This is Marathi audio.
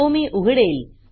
तो मी उघडेल